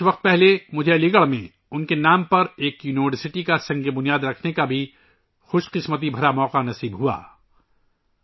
کچھ عرصہ پہلے مجھے علی گڑھ میں ان کے نام پر یونیورسٹی کا سنگ بنیاد رکھنے کی سعادت بھی حاصل ہوئی تھی